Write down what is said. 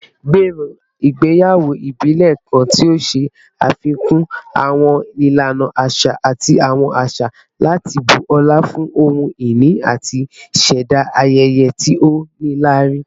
Gbero igbeyawo ibile kan ti o ṣafikun awọn ilana aṣa ati awọn aṣa lati bu ọla fun ohun-ini ati ṣẹda ayẹyẹ ti o nilari